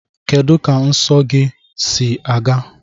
Kedu ka nsọ nsọ gị si aga?